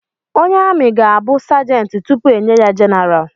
Onye ami ga-abụ sergent tupu enye ya general